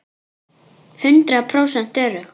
Hundrað prósent örugg!